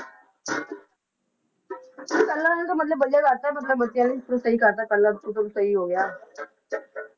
ਪਹਿਲਾਂ ਤਾਂ ਮਤਲਬ ਵਧੀਆ ਕਰ ਦਿੱਤਾ ਮਤਲਬ ਬੱਚਿਆਂ ਲਈ ਤਾਂ ਸਹੀ ਕਰ ਦਿੱਤਾ ਪਹਿਲਾਂ ਮਤਲਬ ਸਹੀ ਹੋ ਗਿਆ